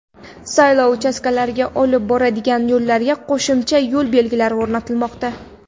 Saylov uchastkalariga olib boradigan yo‘llarga qo‘shimcha yo‘l belgilari o‘rnatilmoqda.